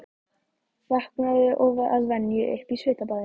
Vaknaði að venju upp í svitabaði.